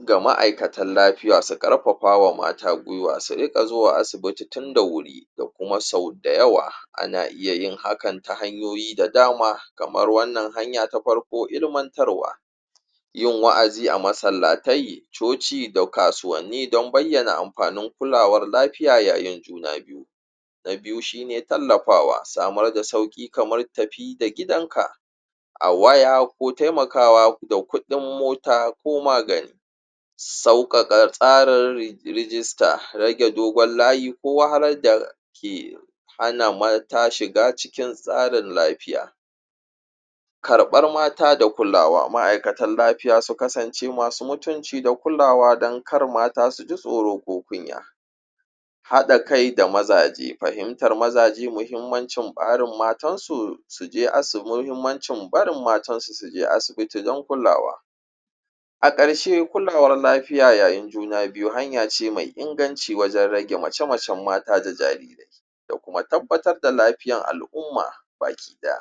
ga ma'aikatan lafiya su ƙarfafawa mata gwiwa su riƙa zuwa asibiti tun da wuri da kuma sau da yawa ana iya yin hakan ta hanyoyi da dama kamar wannan hanya ta farko ilmantarwa yin wa'azi a masallatai cuci da kasuwanni don bayyana amfanin kulawar lafiya yayi juna biyu na biyu shine tallafawa samar d sauƙi kamar tafi da gidanka a waya ko taimakawa da kuɗin mota ko magani sauƙaƙa tsarin rigista rage dogon layi ko wahalar dake hana mata shiga cikin tsarin lafiya karɓar mata da kulawa ma'aikatan lafiya su kasance masu mutunci dan kar mata mata suji tsaro ko kunya haɗa kai da mazaje fahimtar mazaje muhimmancin barin matansu suje asibiti don kulawa a ƙarshe kulawar lafiya yayin juna biyu hanyace me inganci wajan wajan rage macemacan mata da jarirai da kuma tabbatar da lafiyan al'umma baki ɗaya